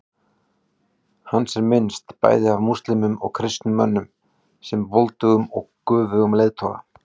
Hans er minnst, bæði af múslímum og kristnum mönnum, sem voldugum og göfugum leiðtoga.